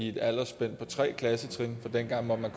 et aldersspænd på tre klassetrin for dengang måtte man